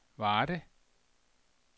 Varde